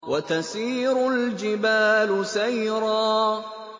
وَتَسِيرُ الْجِبَالُ سَيْرًا